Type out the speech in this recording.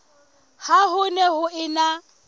ha ho ne ho ena